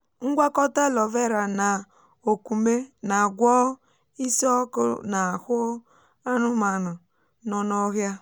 ngwakọta aloe vera na òkwùmé na-agwọ isi um ọkụ n’ahụ um anụmanụ nọ n’ọhịa.